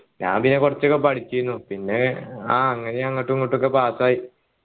ഞാൻ പിന്നെ കുറച്ചൊക്കെ പഠിച്ചേനു പിന്നെ ആഹ് അങ്ങനെ അങ്ങോട്ടും ഇങ്ങോട്ടും ഒക്കെ pass ആയി